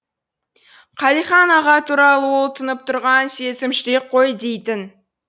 қалихан аға туралы ол тұнып тұрған сезім жүрек қой дейтін